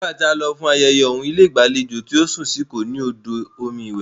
Nígbà tí a lọ fún ayẹyẹ ọ̀uń, ilé ìgbàlejò tí a sùn sí kò ní òdò omi iwẹ̀.